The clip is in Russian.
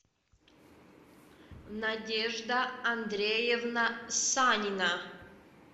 надежда андреевна санина